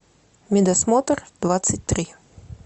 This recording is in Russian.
медосмотр двадцать три